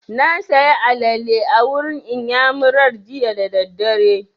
Na saya alale a wurin iyamurar jiya da daddare